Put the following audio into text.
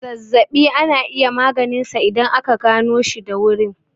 Zazzaɓi ana iya maganinsa idan aka ganoshi da wurin.